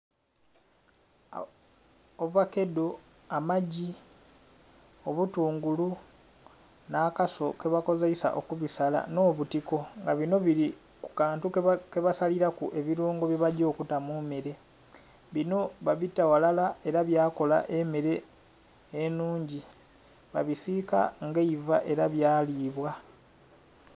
Ovakedo amagi obutungulu n'akaso kebakozeisa okubisala n'obutiko nga bino bili kukantu kebasalilaku ebirungo byebaja okuta mummere bino babita ghalala era byakola emmere enhungi babisiika nga eiva era byalibwa